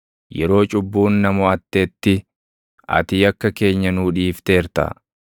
Yeroo cubbuun na moʼattetti, ati yakka keenya nuu dhiifteerta.